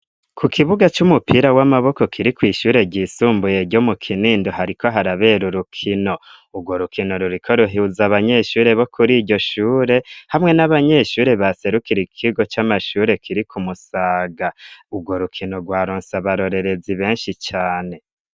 Ku kibuga c'umupira w'amaboko kiri kw'ishure ryisumbuye ryo mu kinindi hariko harabera urukino urwo rukino ruriko ruhuza abanyeshure bo kuri iryo shure hamwe n'abanyeshure baserukira ikigo c'amashure kiri ku musaga urwo rukino rwa ronsi abarorerezi benshi cane.